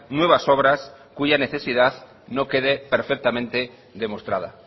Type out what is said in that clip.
nuevas obras cuya necesidad no quede perfectamente demostrada